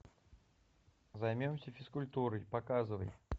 займемся физкультурой показывай